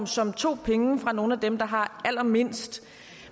som tog penge fra nogle af dem der har allermindst og